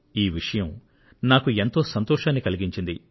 ఈ విషయం నాకు ఎంతో సంతోషాన్ని కలిగించింది